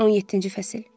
17-ci fəsil.